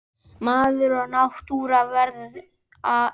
Maður og náttúra verða eitt.